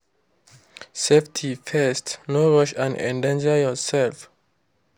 safety first—no rush and endanger yourself.